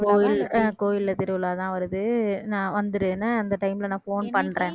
கோவில் கோவில்ல திருவிழாதான் வருது நான் வந்துரு என்ன அந்த time ல நான் phone பண்றேன்